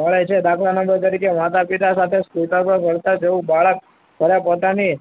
મળે છે. દાખલા number તરીકે માતા-પિતા સાથે કોટર પર રડતા જવું. બાળક પહેલા પોતાની,